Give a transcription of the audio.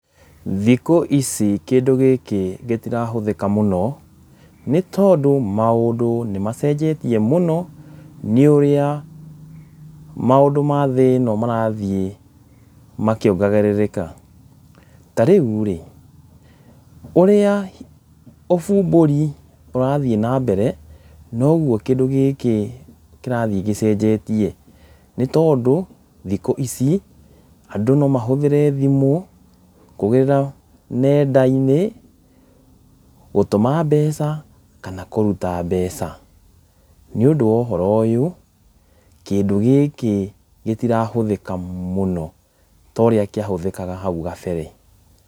Thikũ ici kĩndũ gĩkĩ gĩtira hũthĩka mũno, nĩ tondũ maũndũ nĩ macenjetie mũno, nĩ ũrĩa maũndũ ma thĩ ĩno marathiĩ makĩongagĩrĩrĩka , ta rĩu rĩ ũrĩa ũbumbũri ũrathiĩ na mbere nogwo kĩndũ gĩkĩ kĩrathiĩ gĩcenjetie, nĩ tondũ thikũ ici andũ no mahũthĩre thimũ kũgera nenda-inĩ gũtũma mbeca kana kũruta mbeca, nĩ ũndũ wa ũhoro ũyũ kĩndũ gĩkĩ gĩtira hũthĩka mũno ta ũrĩa kĩa hũthĩkaga hau gabere.